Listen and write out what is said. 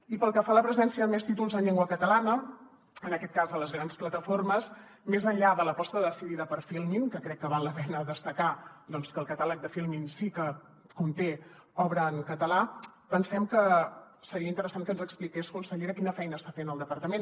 i pel que fa a la presència de més títols en llengua catalana en aquest cas a les grans plataformes més enllà de l’aposta decidida per filmin que crec que val la pena destacar que el catàleg de filmin sí que conté obra en català pensem que seria interessant que ens expliqués consellera quina feina està fent el departament